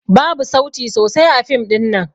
Babu sauti sosai a fim ɗin nan.